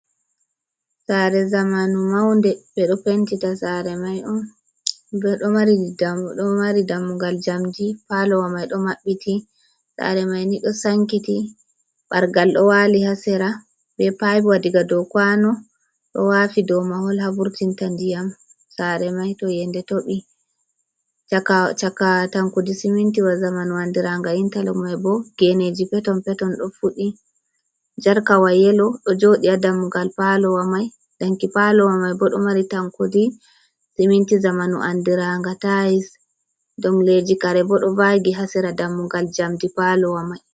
Sare zamanu maunde, ɓeɗo pentita sare mai on, ɓe ɗo mari dammudo ɗo mari dammugal jamdi, palowa mai ɗo maɓɓiti, sare mai ni ɗo sankiti bargal ɗo wali ha sera, be paipwa diga dou kwano ɗo wafi dou mahol, havurtinta ndiyam sare mai to yende toɓi chaka tankudi simintiwa zamanu andiranga intalo mai bo geneji peton peton ɗo fuɗɗi, jarkawa yelo ɗo joɗi ha dammugal palowa mai danki palowa mai bo ɗo mari tankudi siminti zamanu andiranga tais, ɗong leji kare bo ɗo vagi ha sera dammugal jamdi palowa mai.